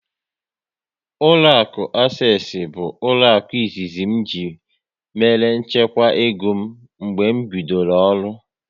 Ụlọakụ Asesi bụ ụlọaku izizi ji mère nchekwa ego m mgbe m bidoro ọrụ